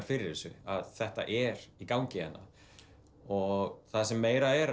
fyrir þessu að þetta er í gangi hérna og það sem meira er